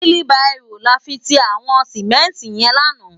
Wili bàró làfi ti àwòn simènti yèn làná